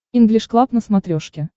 инглиш клаб на смотрешке